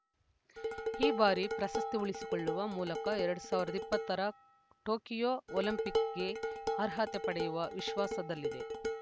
ಈ ಬಾರಿ ಪ್ರಶಸ್ತಿ ಉಳಿಸಿಕೊಳ್ಳುವ ಮೂಲಕ ಎರಡ್ ಸಾವಿರದ ಇಪ್ಪತ್ತರ ಟೋಕಿಯೋ ಒಲಿಂಪಿಕ್ ಗೆ ಅರ್ಹತೆ ಪಡೆಯುವ ವಿಶ್ವಾಸದಲ್ಲಿದೆ